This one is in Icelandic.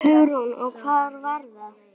Hugrún: Og hvar var það?